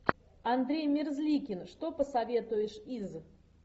андрей мерзликин что посоветуешь из